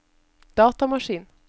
datamaskin